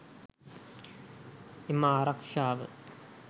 එම ආරක්ශාව